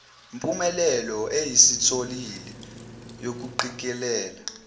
mpumelelo esiyitholile yokuqikelela